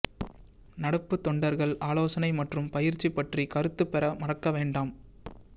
நடப்பு தொண்டர்கள் ஆலோசனை மற்றும் பயிற்சி பற்றி கருத்து பெற மறக்க வேண்டாம்